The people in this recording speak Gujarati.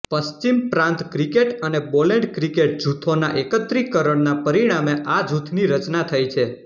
પશ્ચિમ પ્રાન્ત ક્રિકેટ અને બોલેન્ડ ક્રિકેટ જૂથોના એકત્રીકરણના પરિણામે આ જૂથની રચના થઇ છે